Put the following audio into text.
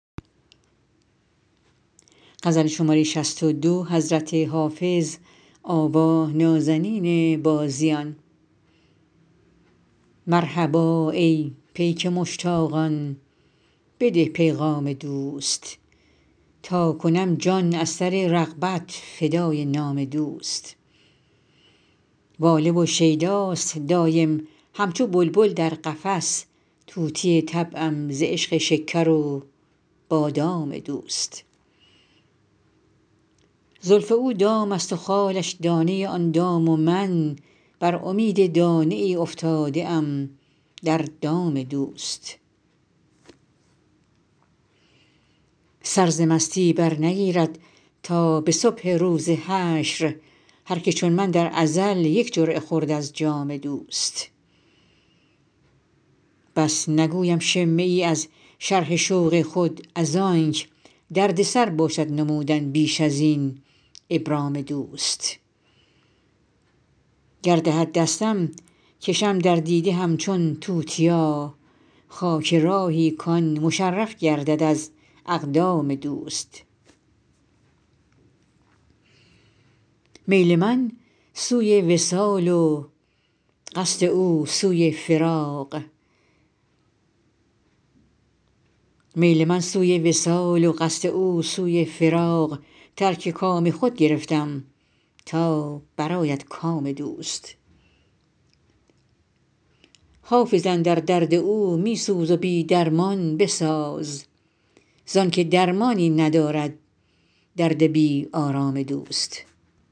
مرحبا ای پیک مشتاقان بده پیغام دوست تا کنم جان از سر رغبت فدای نام دوست واله و شیداست دایم همچو بلبل در قفس طوطی طبعم ز عشق شکر و بادام دوست زلف او دام است و خالش دانه آن دام و من بر امید دانه ای افتاده ام در دام دوست سر ز مستی برنگیرد تا به صبح روز حشر هر که چون من در ازل یک جرعه خورد از جام دوست بس نگویم شمه ای از شرح شوق خود از آنک دردسر باشد نمودن بیش از این ابرام دوست گر دهد دستم کشم در دیده همچون توتیا خاک راهی کـ آن مشرف گردد از اقدام دوست میل من سوی وصال و قصد او سوی فراق ترک کام خود گرفتم تا برآید کام دوست حافظ اندر درد او می سوز و بی درمان بساز زان که درمانی ندارد درد بی آرام دوست